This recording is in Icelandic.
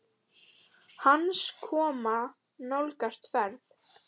Hans koma nálgast fer